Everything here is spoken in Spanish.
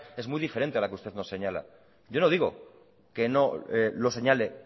es muy diferente a la que usted nos señala yo no digo que no lo señale